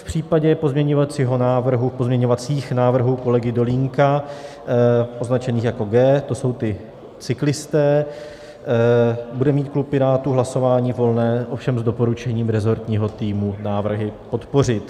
V případě pozměňovacích návrhů kolegy Dolínka označených jako G, to jsou ti cyklisté, bude mít klub Pirátů hlasování volné, ovšem s doporučením resortního týmu návrhy podpořit.